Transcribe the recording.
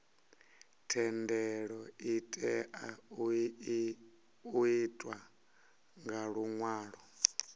thendelo itea u itwa nga luṅwalo